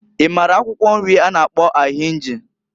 I mara akwụkwọ nri a na-akpọ ahinji?